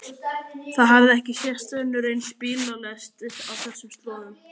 Það hafði ekki sést önnur eins bílalest á þessum slóðum.